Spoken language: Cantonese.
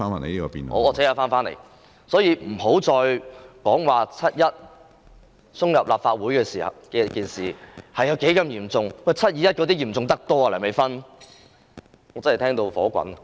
所以，不要再說7月1日闖入立法會大樓的事件有多麼嚴重，"七二一"事件比它嚴重得多，梁美芬議員。